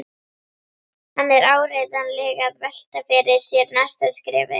Hann er áreiðanlega að velta fyrir sér næsta skrefi.